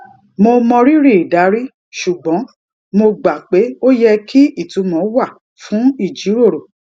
mo mọrírì ìdarí ṣùgbọn mo gbà pé ó yẹ kí ìtumọ wà fún ìjíròrò